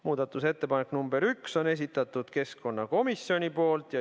Muudatusettepaneku nr 1 on esitanud keskkonnakomisjon.